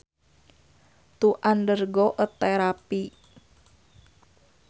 To undergo a therapy